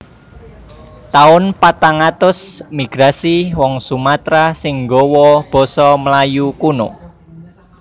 Taun patang atus Migrasi wong Sumatera sing gawa basa Melayu kuno